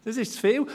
Das ist zu viel!